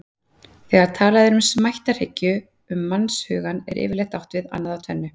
Þegar talað er um smættarhyggju um mannshugann er yfirleitt átt við annað af tvennu.